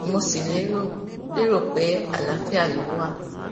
mo sì lérò lérò pé àlàáfíà ló wà